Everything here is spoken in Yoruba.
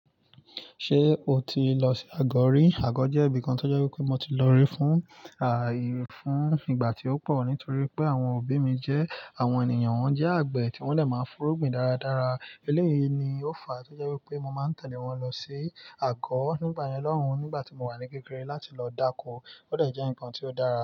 Ṣé o ti lọ sí Agọ ri? Àgọ́ jẹ́ ibìkan tó jẹ́ wípé mo ti lọ rí fún, àì fún ìgbà tí ó pọ̀ nítorí pé àwọn òbí mi jẹ́ àwọn ènìyàn wọ́n jẹ́ àgbẹ̀ tí wón lè máa ń fú ru gbin dáradára. Eléyìí ni ó fa tó jẹ́ wípé mo máa ń tẹ̀lé wọn lọ sí àgọ́. Nígbà yẹn lọ́hun nígbà tí mo wà ní kékeré láti lọ dáko ó dẹjẹ ńkan tí ó dára.